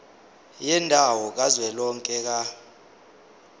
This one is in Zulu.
yendawo kazwelonke ka